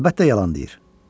Əlbəttə, yalan deyir.